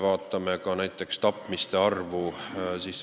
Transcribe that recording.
Vaatame näiteks tapmiste arvu.